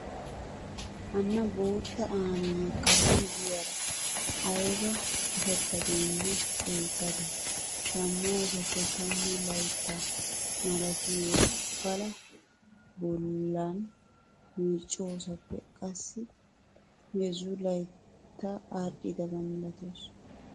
Hanna boottta aammiyaa karen diyaara ayiba qitattadeenne ceeggadee. shammoosappe tammu layitta malatiyoo palaa bollan meecoosappe qassi heezzu layitta aadhdhoba malatawusu.